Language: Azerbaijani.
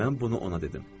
Mən bunu ona dedim.